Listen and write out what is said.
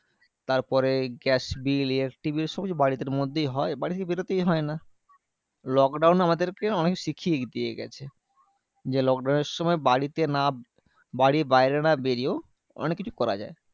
তারপরে gas bill, electric bill সবকিছু বাড়ি তের মধ্যেই হয়। বাড়ি থেকে বেরোতেই হয় না। lockdown আমাদের কে অনেক শিখিয়ে দিয়ে গেছে। যে lockdown এর সময় বাড়িতে না বাড়ির বাইরে না বেরিয়েও অনেক কিছু করা যায়।